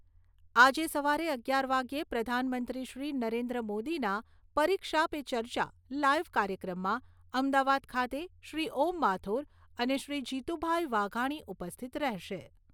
આજે સવારે અગિયાર વાગ્યે પ્રધાનમંત્રીશ્રી નરેન્દ્ર મોદીના "પરીક્ષા પે ચર્ચા" લાઈવ કાર્યક્રમમાં અમદાવાદ ખાતે શ્રી ઓમ માથુર અને શ્રી જીતુભાઈ વાઘાણી ઉપસ્થિત રહેશે.